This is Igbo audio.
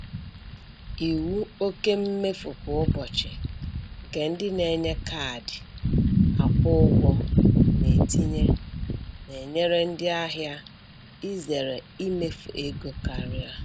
Iwu oke mmefu kwa ụbọchị nke ndị na-enye kaadị akwụ ụgwọ na-etinye na-enyere ndị ahịa izere imefu ego karịa.